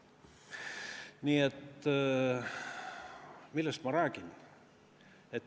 Nii et millest ma räägin?